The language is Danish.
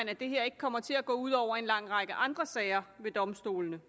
at det her ikke kommer til at gå ud over en lang række andre sager ved domstolene